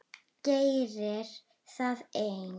Gerir það enn.